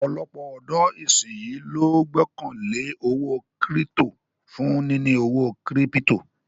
Ọ̀pọ̀lọpọ̀ ọ̀dọ̀ ìsínyí ló gbọ́kàn lé owó kírítò for níní owó kírípítò